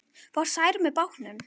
Fór Særún með bátnum.